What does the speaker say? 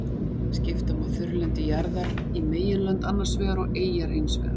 Skipta má þurrlendi jarðar í meginlönd annars vegar og eyjar hins vegar.